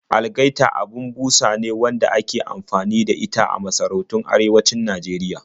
Algaita abin busa ne wadda aka fi anfani da ita a masarautun arewacin Najeriya